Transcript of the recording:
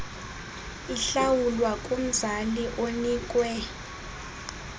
ihlawulwa kumzali onikwe